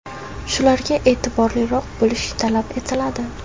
Shularga eʼtiborliroq bo‘lish talab etiladi.